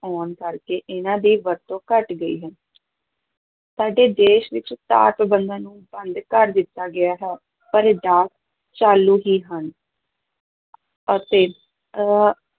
ਆਉਣ ਕਰਕੇ ਇਹਨਾਂ ਦੀ ਵਰਤੋਂ ਘੱਟ ਗਈ ਹੈ ਸਾਡੇ ਦੇਸ ਵਿੱਚ ਨੂੰ ਬੰਦ ਕਰ ਦਿੱਤਾ ਗਿਆ ਹੈ ਪਰ ਡਾਕ ਚਾਲੂ ਹੀ ਹਨ ਅਤੇ